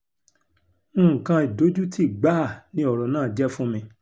nǹkan ìdojútì gbáà ni ọ̀rọ̀ náà jẹ́ fún mi